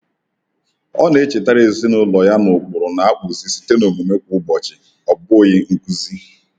Ọ na-echetara ezinụlọ ya na ụkpụrụ na-akpụzi site na omume kwa ụbọchị, ọ bụghị nkuzi.